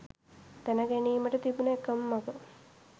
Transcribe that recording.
දැන ගැනීමට තිබුන එකම මග